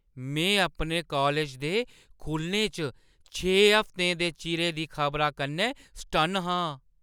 में अपने कालज दे खु'लने च छे हफ्तें दे चिरै दी खबरा कन्नै सटन्न आं।